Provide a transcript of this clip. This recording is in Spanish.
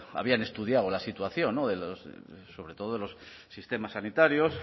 habían estudiado la situación sobre todo de los sistemas sanitarios